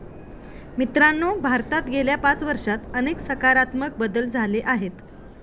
मित्रांनो, भारतात गेल्या पाच वर्षात अनेक सकारात्मक बदल झाले आहेत.